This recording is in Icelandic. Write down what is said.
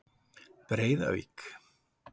Breiðavík